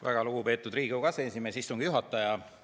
Väga lugupeetud Riigikogu aseesimees, istungi juhataja!